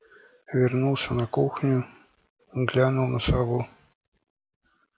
вернулся на кухню глянул на сову